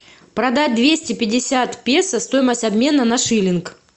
продать двести пятьдесят песо стоимость обмена на шиллинг